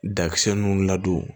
Dakisɛ nun ladon